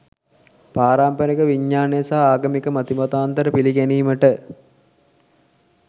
පාරම්පරික විඥානය සහ ආගමික මතිමතාන්තර පිළිගැනීමට